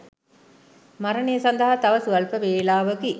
මරණය සදහා තව ස්වල්ප වේලාවකි.